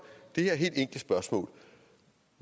det her helt enkle spørgsmål